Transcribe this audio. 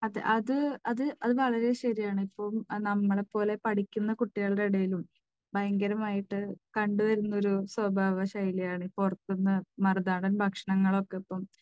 അത്, അത് വളരെ ശരിയാണ്. ഇപ്പോൾ നമ്മളെപ്പോലെ പഠിക്കുന്ന കുട്ടികളുടെ ഇടയിലും ഭയങ്കരമായിട്ട് കണ്ടുവരുന്ന ഒരു സ്വഭാവ ശൈലിയാണ് പുറത്തുനിന്ന്, മറുനാടൻ ഭക്ഷണങ്ങൾ ഒക്കെ ഇപ്പോൾ